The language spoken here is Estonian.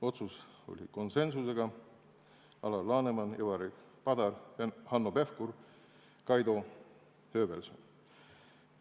Otsus tehti konsensusega – Alar Laneman, Ivari Padar, Hanno Pevkur ja Kaido Höövelson.